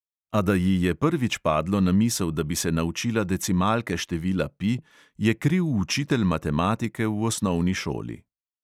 A da ji je prvič padlo na misel, da bi se naučila decimalke števila pi, je kriv učitelj matematike v osnovni šoli.